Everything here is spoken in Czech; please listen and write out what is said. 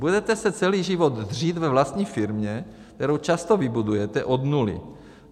Budete se celý život dřít ve vlastní firmě, kterou často vybudujete od nuly.